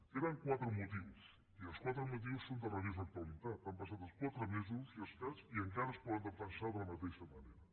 eren quatre motius i els quatre motius són de rabiosa actualitat han passat els quatre mesos i escaig i encara es poden defensar de la mateixa manera